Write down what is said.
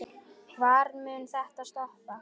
Hvar mun þetta stoppa?